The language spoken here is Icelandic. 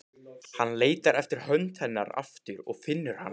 Hann leitar eftir hönd hennar aftur og finnur hana.